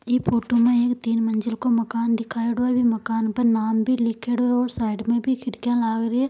ई photo में तीन मजिल को माकन दिखायोड़ो है माकन के ऊपर नाम भी लिखयोड़ो है और साइड में खिड़की भी लाग रखी है।